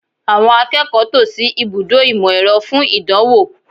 Àwọn akẹ́kọ̀ọ́ tò sí ibùdó ìmọ̀-ẹ̀rọ fún ìdánwò